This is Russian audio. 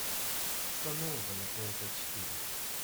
что нового на тнт четыре